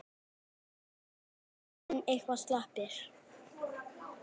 Breki: Menn, menn eitthvað slappir?